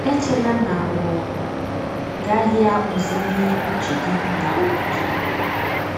Echela na ọ gaghị akpụzili uche gị na obi gị.